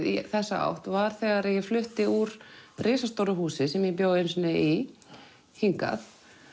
í þessa átt var þegar ég flutti úr risastóru húsi sem ég bjó einu sinni í hingað